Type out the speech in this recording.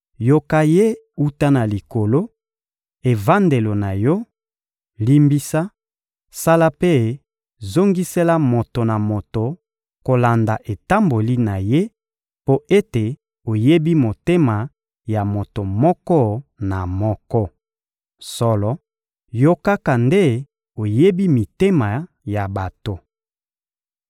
yoka ye wuta na Likolo, evandelo na Yo, limbisa, sala mpe zongisela moto na moto kolanda etamboli na ye, mpo ete oyebi motema ya moto moko na moko. Solo, Yo kaka nde oyebi mitema ya bato.